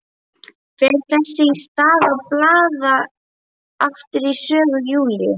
Fer þess í stað að blaða aftur í sögu Júlíu.